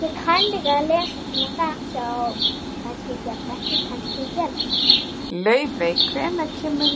Laufey, hvenær kemur